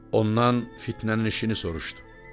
Ondan fitnənin işini soruşdu.